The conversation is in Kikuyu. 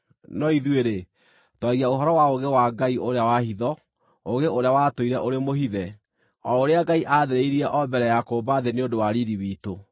No ithuĩ-rĩ, twaragia ũhoro wa ũũgĩ wa Ngai ũrĩa wa hitho, ũũgĩ ũrĩa watũire ũrĩ mũhithe, o ũrĩa Ngai aathĩrĩire o mbere ya kũũmba thĩ nĩ ũndũ wa riiri witũ.